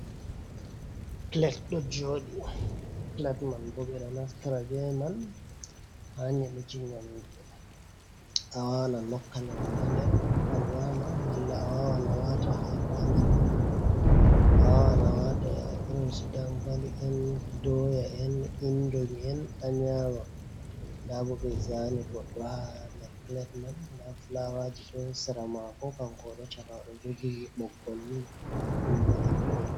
Pilet ɗo jooɗi, pilet man bo ɓe ɗo naftira bee man haa nyeɗuki nyaamdu, a waawan a nokka nyaamdu ha nder a nyaama, malla a waawan a waata haako haa nder man. A waawan a waata irin su dankali en, dooya en, inndoi en, a nyaama. Ndaa bo ɓe zaani goɗɗo ɗo haa nder pilet man. Ndaa filaawaaji ɗo sera maako kanko o ɗo caka maɓɓe o ɗo jogi ɓoggolnii ɗum bo debbo on.